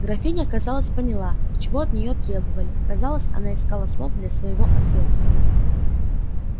графиня казалось поняла чего от неё требовали казалось она искала слов для своего ответа